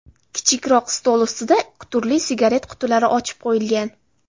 Kichikroq stol ustida turli sigaret qutilari ochib qo‘yilgan.